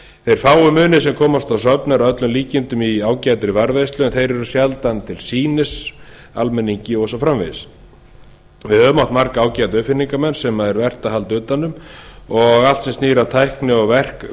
þeir fáu munir sem komast á söfn eru að öllum líkindum í ágætri varðveislu en þeir eru sjaldan til sýnis almenningi og svo framvegis við höfum átt marga ágæta uppfinningamenn sem vert er að halda utan um og allt sem snýr að tækni og